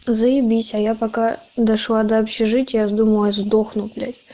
заебись а я пока дошла до общежития думала я сдохну блять